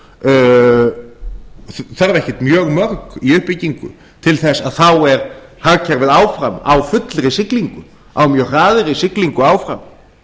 um netþjónabú þarf ekkert mjög mörg í uppbyggingu til þess að þá er hagkerfið áfram á fullri siglingu á mjög hraðri siglingu áfram